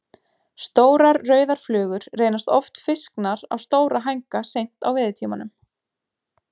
Stórar, rauðar flugur reynast oft fisknar á stóra hænga seint á veiðitímanum.